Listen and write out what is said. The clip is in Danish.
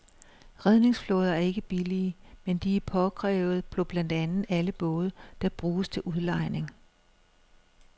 Redningsflåder er ikke billige, men de er påkrævede på blandt andet alle både, der bruges til udlejning.